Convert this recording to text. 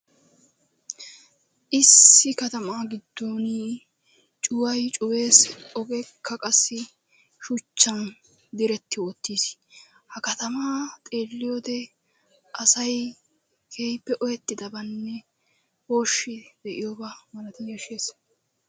Issi katama giddon cuway cuwees, ogekka qassi shuchchan diretti wottiis. Ha katamaa xeeliyode asay keehippe ooyetidabanne ooshshi de'iuooba malaati yashshees.